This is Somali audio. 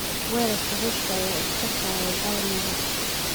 Weerarka Ruushka ayaa IS ka saaray Palmyra